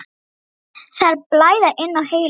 Það er að blæða inn á heilann.